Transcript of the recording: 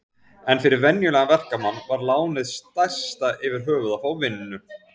En fyrir venjulegan verkamann var lánið stærsta yfirhöfuð að fá vinnu.